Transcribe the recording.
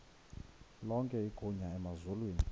lonke igunya emazulwini